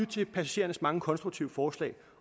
til passagerernes mange konstruktive forslag